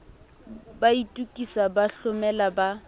ba itokisa ba hlomela ba